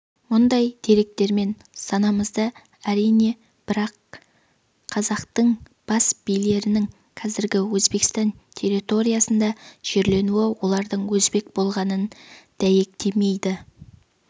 мұндай деректермен санасамыз әрине бірақ қазақтың бас билерінің қазіргі өзбекстан территориясында жерленуі олардың өзбек болғанын дәйектемейді